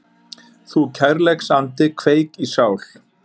Þú kærleiksandi kveik í sál